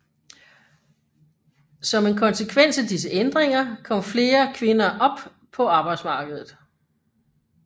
Som en konsekvens af disse ændringer kom flere kvinder up på arbejdsmarkedet